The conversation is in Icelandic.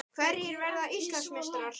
Hverjir verða Íslandsmeistarar?